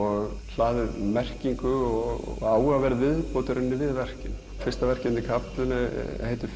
hlaðið merkingu og áhugaverð viðbót við verkið fyrsta verkið heitir